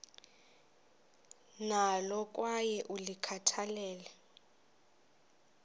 nalo kwaye ulikhathalele